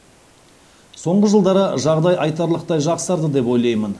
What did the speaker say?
соңғы жылдары жағдай айтарлықтай жақсарды деп ойлаймын